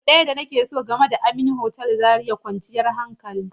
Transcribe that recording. Abu ɗaya da nake so game da Amin otal Zaria shine kwanciyar hankali.